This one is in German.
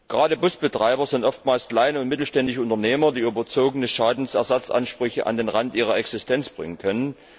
Gerade Busbetreiber sind oftmals kleine und mittelständische Unternehmer, die überzogene Schadensersatzansprüche an den Rand ihrer Existenz bringen können.